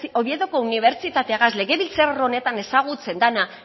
oviedoko unibertsitategaz legebiltzar honetan ezagutzen dena